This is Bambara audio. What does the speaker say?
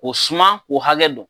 O suman o hakɛ don.